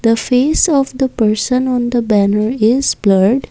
the face of the person on the banner is blurred.